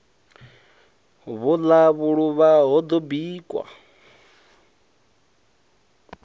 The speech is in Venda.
vhuḽa vhuluvha ho ḓo bikwa